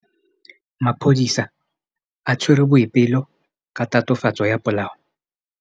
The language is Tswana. Maphodisa a tshwere Boipelo ka tatofatsô ya polaô.